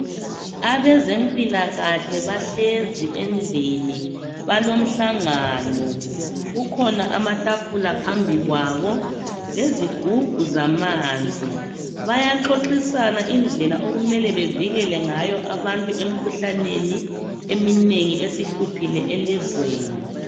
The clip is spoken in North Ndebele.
Abezempilakahle bahlezi endlini balomhlangano. Kukhona amatafula phambi kwabo lezigubhu zamanzi. Bayaxoxisana indlela okumele bevikele ngayo abantu emikhuhlaneni eminengi esihluphile elizweni.